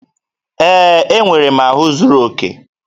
Ee, enwere m ahụ zuru oke